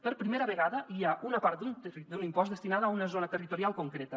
per primera vegada hi ha una part d’un impost destinada a una zona territorial concreta